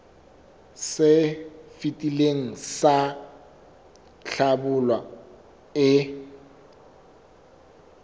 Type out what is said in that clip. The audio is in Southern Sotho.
se fetileng sa hlabula e